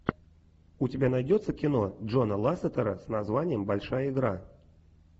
у тебя найдется кино джона лассетера с названием большая игра